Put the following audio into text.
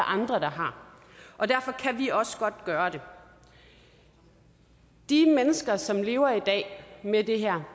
andre der har og derfor kan vi også godt gøre det de mennesker som lever i dag med det her